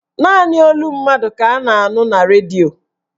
Naanị olu mmadụ ka a na-anụ na redio